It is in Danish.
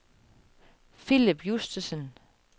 Philip Justesen